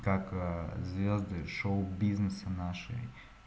как ээ звезды шоу-бизнеса нашей